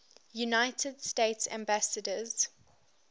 united states ambassadors